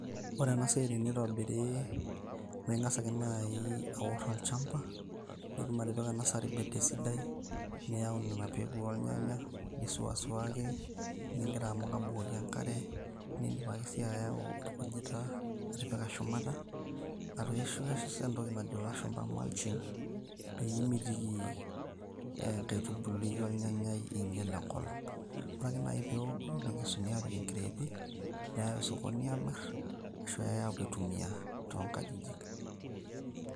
Ore enasiai teneitobiri na ingasa ake duo aor olchamba, nitum atipika nursery bed sidai niyau nona bekui ornyanya ,nisuasuaki ingira abukoki enkare niidim si ayau orkujita atipika shumata arashu ias entoki najo lashumba mulching peimitiki ntaitubului ornyanyai iinyal enkop ,ore peoku nekesuni apik nkreti meyai osokoni amir ashu eyai peepuoi aitumia tonkangitie.